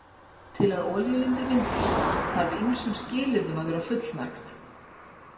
Til að olíulindir myndist þarf ýmsum skilyrðum að vera fullnægt.